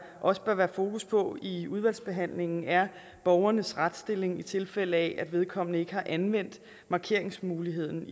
også bør være fokus på i udvalgsbehandlingen er borgerens retsstilling i tilfælde af at vedkommende ikke har anvendt markeringsmuligheden